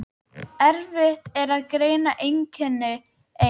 Erfitt er að greina einkenni eins